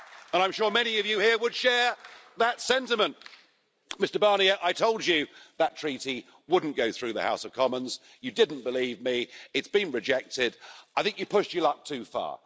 I'm sure many of you here would share that sentiment. Mr Barnier, I told you that treaty wouldn't go through the House of Commons, you didn't believe me, it's been rejected and I think you pushed your luck too far.